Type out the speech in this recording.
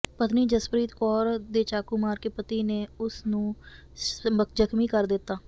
ਪਤਨੀ ਜਸਪ੍ਰਰੀਤ ਕੌਰ ਦੇ ਚਾਕੂ ਮਾਰ ਕੇ ਪਤੀ ਨੇ ਉਸ ਨੂੰ ਜ਼ਖ਼ਮੀ ਕਰ ਦਿੱਤਾ